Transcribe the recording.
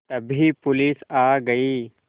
तभी पुलिस आ गई